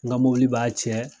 N ka mɔbili b'a cɛ